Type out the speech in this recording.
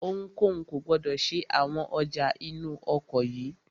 Ohunkóhun kò gbọdọ̀ ṣe àwọn ọjà inú ọkọ̀ yìí!